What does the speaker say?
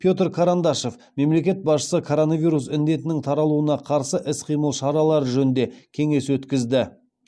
петр карандашов мемлекет басшысы коронавирус індетінің таралуына қарсы іс қимыл шаралары жөнінде кеңес өткізді